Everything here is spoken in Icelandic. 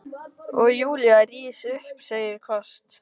Og Júlía rís upp, segir hvasst